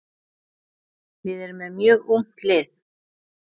Við erum með mjög ungt lið.